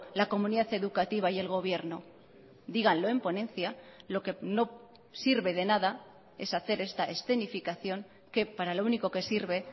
la comunidad educativa y el gobierno díganlo en ponencia lo que no sirve de nada es hacer esta escenificación que para lo único que sirve